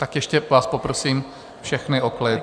Tak ještě vás poprosím všechny o klid.